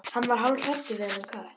Hann varð hálfhræddur við þennan kött.